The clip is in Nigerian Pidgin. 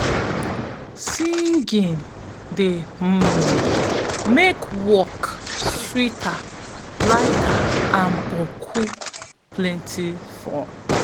singing de um make work sweeter lighter and boku plenti fun.